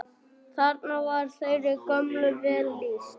Þarna var þeirri gömlu vel lýst.